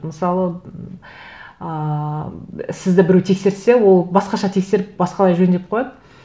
мысалы ммм ыыы сізді біреу тексерсе ол басқаша тексеріп басқалай жөндеп қояды